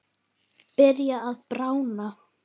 Byrjar að bráðna.